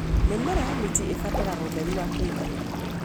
Mĩmera ya minji ibataraga ũtheri wa kũigana.